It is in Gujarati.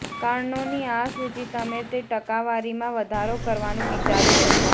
કારણોની આ સૂચિ તમે તે ટકાવારીમાં વધારો કરવાનું વિચારી શકો